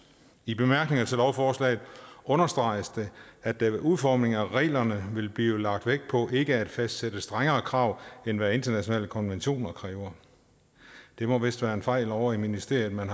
i bemærkningerne til lovforslaget understreges det at der ved udformningen af reglerne vil blive lagt vægt på ikke at fastsætte strengere krav end hvad internationale konventioner kræver det må vist være en fejl ovre i ministeriet man